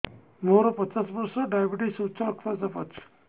ମୋର ପଚାଶ ବର୍ଷ ଡାଏବେଟିସ ଉଚ୍ଚ ରକ୍ତ ଚାପ ଅଛି